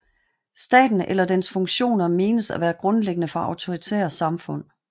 Staten eller dens funktioner menes at være grundlæggende for autoritære samfund